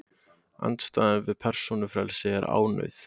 andstæðan við persónufrelsi er ánauð